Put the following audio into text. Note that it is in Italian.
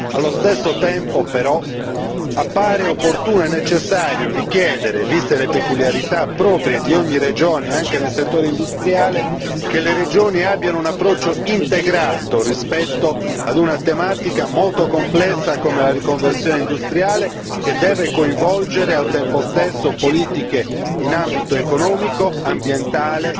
Nel contempo appare tuttavia opportuno e necessario richiedere, viste le peculiarità proprie di ogni regione anche nel settore industriale, che le regioni abbiano un approccio integrato rispetto ad una tematica molto complessa come la riconversione industriale, che deve coinvolgere al tempo stesso politiche in ambito economico, ambientale,